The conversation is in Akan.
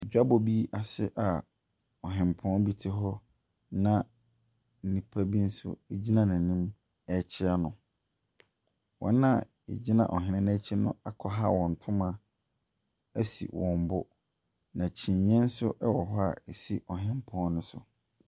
Dwabɔ bi ase a ɔhempɔn bi te hɔ na nnipa bi nso gyina n'anim rekyea no. Wɔn a wɔgyina ɔhene no akyi no akwaha wɔn ntoma asi wɔn bo, na kyiniiɛ nso wɔ hɔ a ɛsi ɔhempɔn no so.